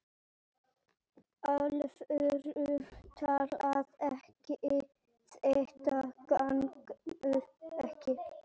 alvöru talað: þetta gengur ekki!